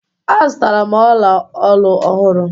Azụtara m ọla olu ọhụrụ